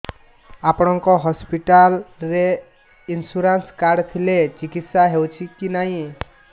ଆପଣଙ୍କ ହସ୍ପିଟାଲ ରେ insurance card ଥିଲେ ଚିକିତ୍ସା ହେଉଛି କି ନାଇଁ